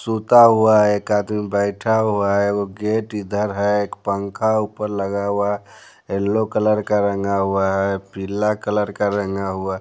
सूता हुआ है एक आदमी बैठा हुआ है वो गेट इधर है एक पंखा ऊपर लगा हुआ है येलो कलर का रंगा हुआ है पीला कलर का रंगा हुआ --